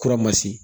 Kura ma se